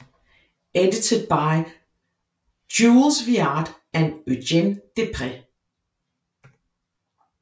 Edited by Jules Viard and Eugène Déprez